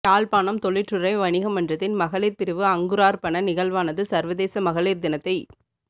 யாழ்ப்பாணம் தொழிற்றுறை வணிக மன்றத்தின் மகளிர் பிரிவு அங்குரார்ப்பண நிகழ்வானது சர்வதேச மகளீர் தினத்தை